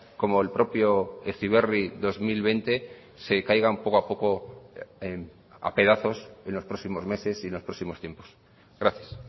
como el propio heziberri dos mil veinte se caigan poco a poco a pedazos en los próximos meses y los próximos tiempos gracias